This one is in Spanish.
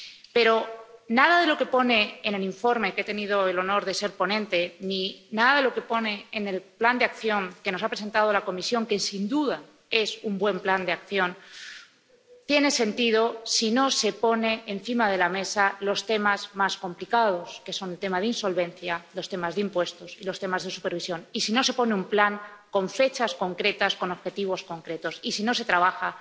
Pero nada de lo que pone en el informe del que he tenido el honor de ser ponente, ni nada de lo que pone en el plan de acción que nos ha presentado la Comisión, que sin duda es un buen plan de acción, tiene sentido si no se ponen encima de la mesa los temas más complicados, que son los temas de insolvencia, los temas de impuestos y los temas de supervisión, y si no se pone sobre la mesa un plan con fechas concretas, con objetivos concretos, y si no se trabaja